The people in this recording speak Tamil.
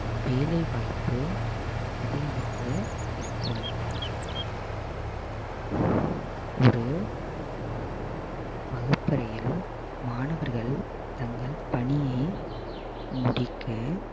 வேலைவாய்ப்பு அதிகமாக இருக்கும் ஒரு வகுப்பறையில் மாணவர்கள் தங்கள் பணியை முடிக்க